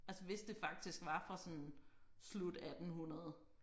Altså hvis det faktisk var fra sådan slut 1800